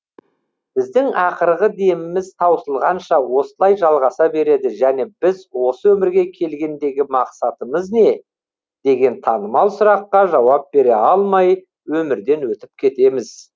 біздің ақырғы деміміз таусылғанша осылай жалғаса береді және біз осы өмірге келгендегі мақсатымыз не деген танымал сұраққа жауап бере алмай өмірден өтіп кетеміз